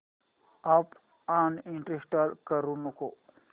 app uninstall करू नको